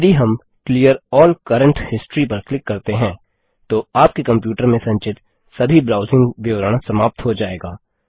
यदि हम clear all current history पर क्लिक करते हैं तो आपके कंप्यूटर में संचित सभी ब्राउजिंग विवरण समाप्त हो जायेगा